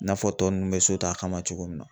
I n'a fɔ tɔ nunnu bɛ so ta kama cogo min na.